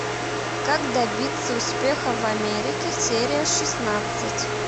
как добиться успеха в америке серия шестнадцать